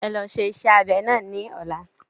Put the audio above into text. E lọ ṣe iṣẹ́ abẹ náà ní ọ̀la.